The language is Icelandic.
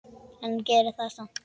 En gerði það samt.